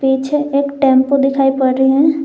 पीछे एक टेंपो दिखाई पड़ रही है।